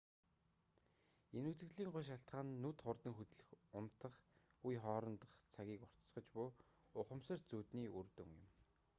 энэ үзэгдлийн гол шалтгаан нь нүд хурдан хөдлөн унтах үе хоорондох цагийг уртасгаж буй ухамсарт зүүдний үр дүн юм